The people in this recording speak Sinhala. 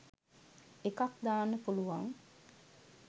එකක් දාන්න පුලුවන්